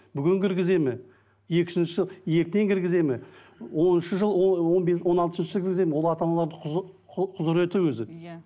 бүгін кіргізеді ме екіншісі ертең кіргізеді ме оныншы жыл он бес он алтыншы кіргізеді ме ол ата аналарды құзыреті өзі иә